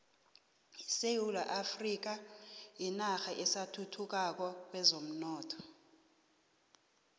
isewula afrika yinarha esathuthukako kwezomnotho